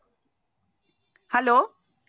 hello